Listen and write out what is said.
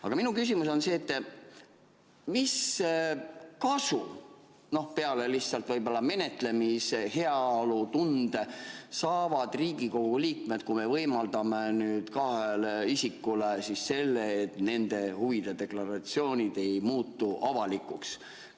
Aga minu küsimus on see: mis kasu peale lihtsalt võib-olla menetlemise heaolutunde saavad Riigikogu liikmed, kui me võimaldame kahele isikule selle, et nende huvide deklaratsioonid ei muutu avalikuks?